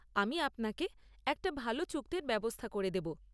আমি আপনাকে একটা ভাল চুক্তির ব্যবস্থা করে দেব।